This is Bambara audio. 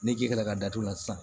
Ne ji ka datugu la sisan